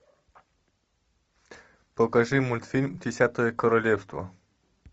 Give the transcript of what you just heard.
покажи мультфильм десятое королевство